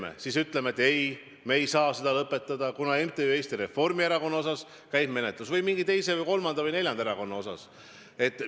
Kas siis ütleme, et ei, me ei saa komisjoni likvideerida, sest MTÜ Eesti Reformierakond asjus käib menetlus või mingi teise, kolmanda või neljanda erakonna asjus?